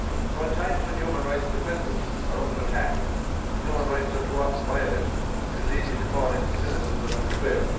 In times when human rights defenders are under attack and human rights are too often violated, it is easy to fall into cynicism and despair.